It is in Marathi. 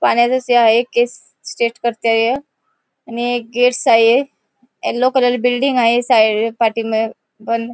पाण्यातच हे आहे केस स्टेट आणि गेट्स आहे येल्लो कलर बिल्डिंग आहे साइड पाठीमागे पण --